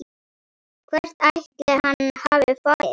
Hvert ætli hann hafi farið?